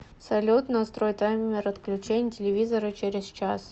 салют настрой таймер отключения телевизора через час